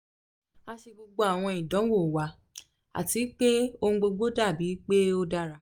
a ṣe gbogbo awọn idanwo wa ati pe ohun gbogbo dabi pe o dara